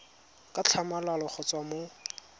ka tlhamalalo go tswa mo